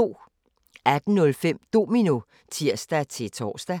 18:05: Domino (tir-tor)